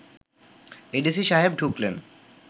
ADC সাহেব ঢুকলেন